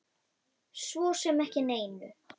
Svo sem ekki neinu.